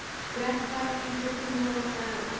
Gretar, einhvern tímann þarf allt að taka enda.